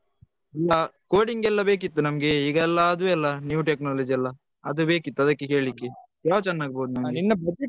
ಹಾ coding ಎಲ್ಲ ಬೇಕಿತ್ತು ನಮ್ಗೆ ಈಗೆಲ್ಲ ಅದು ಅಲ್ಲ new technology ಅಲ್ಲ ಅದು ಬೇಕಿತ್ತು ಅದಕ್ಕೆ ಕೇಲಿಕ್ಕೆ ಯಾವ್ದು ಚೆನ್ನಾಗಿರ್ಬೋದು